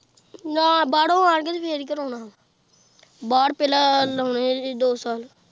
ਨਾਂਹ ਬਾਹਰੋਂ ਆਣ ਕੇ ਤੇ ਫੇਰ ਹੀ ਕਰਾਉਣਾ ਵਾ ਬਾਹਰ ਪਹਿਲਾਂ ਲਾਉਣੇ ਏ ਅਜੇ ਦੋ ਸਾਲ।